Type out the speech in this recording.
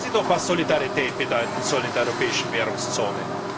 Sagen Sie doch, was Solidarität bedeuten soll in der europäischen Währungszone.